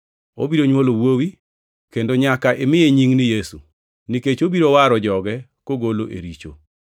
Obiro nywolo wuowi, kendo nyaka imiye nying ni Yesu, nikech obiro waro joge kogolo e richo.”